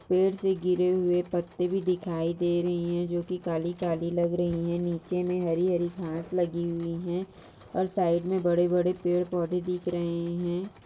पेड़ से गिरे हुए पत्ते भी दिखाई दे रहे हैं जो की काली काली लग रही है नीचे मैं हरी हरी घास लगी हुई है और साइड में बड़े-बड़े पेड़ पौधे दिख रहे है।